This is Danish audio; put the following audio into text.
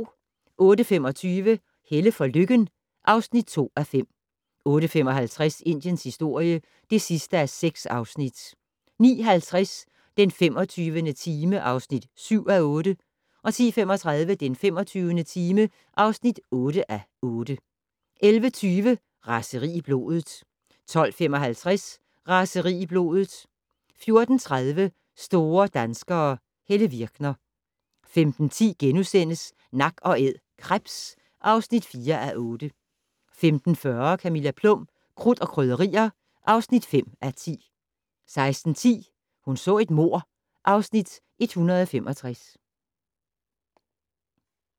08:25: Helle for Lykken (2:5) 08:55: Indiens historie (6:6) 09:50: Den 25. time (7:8) 10:35: Den 25. time (8:8) 11:20: Raseri i blodet 12:55: Raseri i blodet 14:30: Store danskere - Helle Virkner 15:10: Nak & Æd - krebs (4:8)* 15:40: Camilla Plum - Krudt og Krydderier (5:10) 16:10: Hun så et mord (Afs. 165)